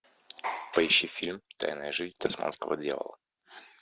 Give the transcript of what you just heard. поищи фильм тайная жизнь тасманского дьявола